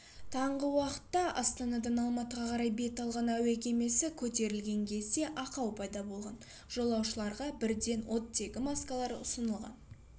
таңғы уақытта астанадан алматыға қарай бет алған әуе кемесі көтерілген кезде ақау пайда болған жолаушыларға бірден оттегі маскалары ұсынылған